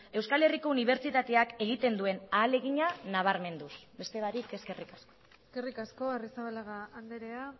euskal herriko unibertsitateak egiten duen ahalegina nabarmenduz beste barik eskerrik asko eskerrik asko arrizabalaga andrea